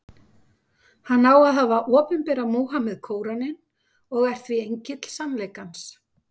Hann á að hafa opinberað Múhameð Kóraninn, og er því engill sannleikans.